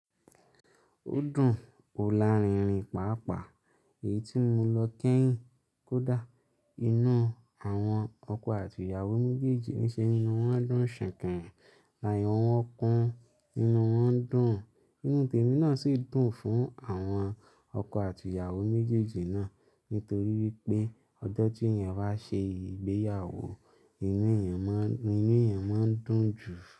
Ó dùn òla rinrin pàápàá èyí tí mo lọ kẹ́yìn kódà inú àwọn ọkọ àti ìyàwó méjèèjì ní ṣe inú wọn dún sìkìn láyọ̀ wọn kún inú wọn dùn. Ìnu tèmi náà sì dùn fún àwọn ọkọ àti ìyàwó méjèèjì náà nítorí wípé ọjọ́ tí èèyàn bá ṣe ìgbéyàwó inú èèyàn máa, inú èèyàn máa ń dùn jù.